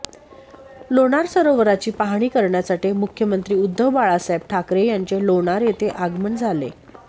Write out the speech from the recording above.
लोणार सरोवराची पाहणी करण्यासाठी मुख्यमंत्री उद्धव बाळासाहेब ठाकरे यांचे लोणार येथे आगमन झाले